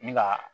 Ni ga